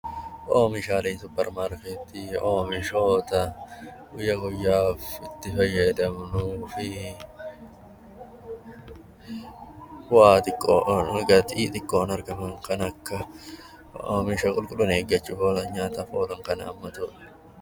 Oomishaaleen suupparmaarkeetii oomishoota guyyaa guyyaan itti fayyadamnuu fi waa xiqqoo irra gatii xiqqoon kan akka qulqullina eeggachuu nyaataaf kan oolan jechuudha.